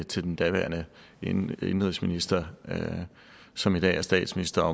til den daværende indenrigsminister som i dag er statsminister